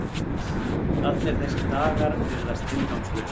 Allir þessar dagar virðast tilgangslausir.